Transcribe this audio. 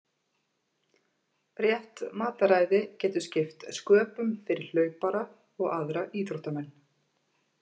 Rétt mataræði getur skipt sköpum fyrir hlaupara og aðra íþróttamenn.